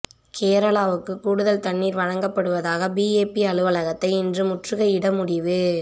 கேரளாவுக்கு கூடுதல் தண்ணீர் வழங்கப்படுவதாக பிஏபி அலுவலகத்தை இன்று முற்றுகையிட முடிவு